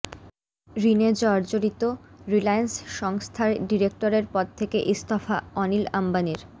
ঋণে জর্জরিত রিলায়্যান্স সংস্থার ডিরেক্টরের পদ থেকে ইস্তফা অনিল অম্বানির